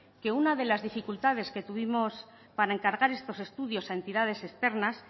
que una de las dificultades que tuvimos para encargar estos estudios a entidades externas